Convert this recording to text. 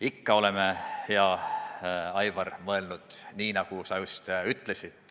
Ikka oleme, hea Aivar, mõelnud nii, nagu sa just ütlesid.